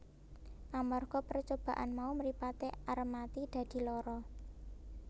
Amarga percobaan mau mripate Armati dadi lara